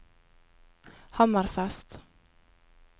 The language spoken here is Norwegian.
Hammerfest